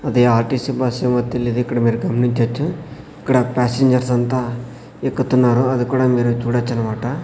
అది RTC bus ఏమో తెలియదు ఇక్కడ మీరు గమనించొచ్చు ఇక్కడ ప్యాసింజర్స్ అంతా ఎక్కుతున్నారు అది కూడా మీరు చూడొచ్చు అన్నమాట.